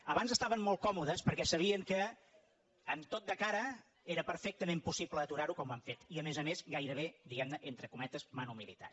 abans estaven molt còmodes perquè sabien que amb tot de cara era perfectament possible aturar ho com han fet i a més a més gairebé diguem ne entre cometes manu militari